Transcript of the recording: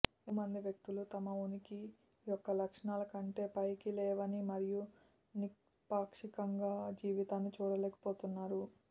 ఎక్కువమంది వ్యక్తులు తమ ఉనికి యొక్క లక్షణాల కంటే పైకి లేవని మరియు నిష్పాక్షికంగా జీవితాన్ని చూడలేకపోతున్నారు